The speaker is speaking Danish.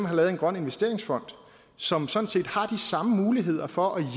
har lavet en grøn investeringsfond som sådan set har de samme muligheder for at